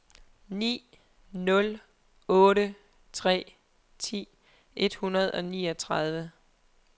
ni nul otte tre ti et hundrede og niogtredive